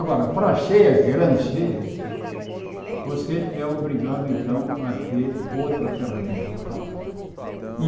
Agora, para cheias grandes, cheias, você é obrigado então a ter outra ferramenta de trabalho. E